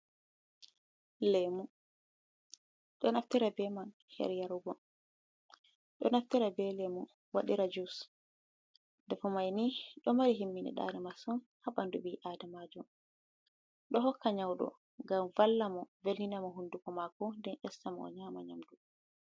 Lemu, do naftira ɓe man her yarugo, do naftira be lemu wadira jus, nafu maini do mari himmini ɗare masun ha bandu ɓi adama jo, do hokka nyaudo gam valla mo velina mo hunduko mako, den esta mo o nyama nyamdu.